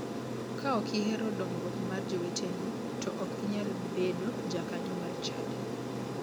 Ka ok ihero dongruok mar joweteni to ok inyal bedo jakanyo mar chadi.